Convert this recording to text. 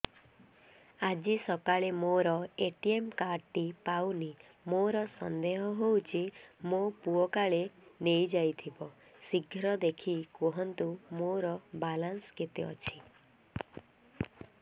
ଆଜି ସକାଳେ ମୋର ଏ.ଟି.ଏମ୍ କାର୍ଡ ଟି ପାଉନି ମୋର ସନ୍ଦେହ ହଉଚି ମୋ ପୁଅ କାଳେ ନେଇଯାଇଥିବ ଶୀଘ୍ର ଦେଖି କୁହନ୍ତୁ ମୋର ବାଲାନ୍ସ କେତେ ଅଛି